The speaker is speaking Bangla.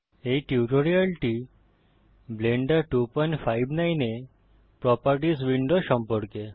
এই টিউটোরিয়ালটি ব্লেন্ডার 259 এ প্রোপার্টিস উইন্ডো সম্পর্কে